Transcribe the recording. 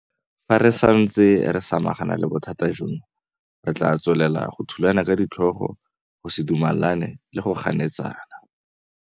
Fa re santse re samagana le bothata jono, re tla tswelela go thulana ka ditlhogo, go se dumelane le go ganetsana.